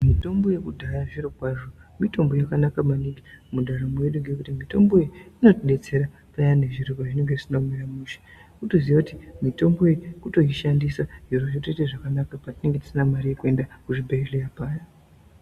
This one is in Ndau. Mitombo yekudhaya zvirikwazvo mitombo yakanaka maningi mundaramo yedu ngekuti mitombo iyi inotidetserana payani zviro pazvinenge zvisina kumira mushe kutoziya kuti mitombo iyi kutoishandisa zviro zvotoita zvakanaka patinenge tisina mari yekuenda kuzvibhedhleya paya.